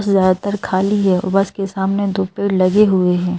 उससे ज्यादा तर खाली है वो बस के सामने दो पेड़ लगे हुएं हैं।